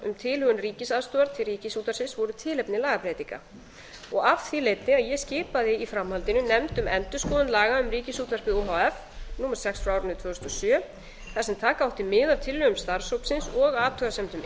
um tilhögun ríkisaðstoðar til ríkisútvarpsins voru tilefni lagabreytinga af því leiddi að ég skipaði í framhaldinu nefnd um endurskoðun laga um ríkisútvarpið o h f númer sex tvö þúsund og sjö þar sem taka átti mið af tillögum starfshópsins og athugasemdum